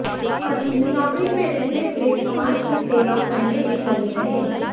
पति नौकरी में रहते हुए समाज की सेवा करने में लगे रहे